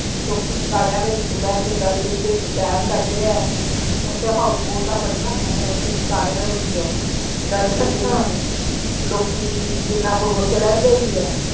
ਲੋਕੀ ਸ਼ਿਕਾਰੀਆਂ ਦੇ ਵਿਚ ਬੈ ਕੇ ਡੱਲ ਲੇਕ ਦੇ ਵਿਚ ਸੈਰ ਕਰਦੇ ਆ house boat ਬਣੀਆਂ ਹੋਈਆਂ ਨੇ ਓਥੇ ਸ਼ਿਕਰਰਿਆਂ ਦੇ ਵਿਚ ਡੱਲ ਲੇਕ ਅੱਛਾ ਦੇ ਵਿਚ ਲੋਕੀ ਜਿਹਨਾਂ ਕੋਲ ਓਥੇ ਰਹਿੰਦੇ ਹੀ ਆ।